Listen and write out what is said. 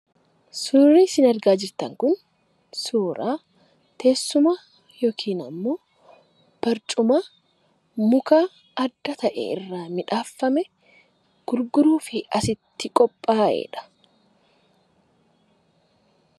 Suurri sin argaa jirtan kun, suuraa teessuma yookiin ammoo barcuma muka adda ta'e irraa midhaafame gurguruufi asitti qophaa'edha.